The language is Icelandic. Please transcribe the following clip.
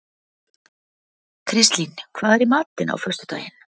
Kristlín, hvað er í matinn á föstudaginn?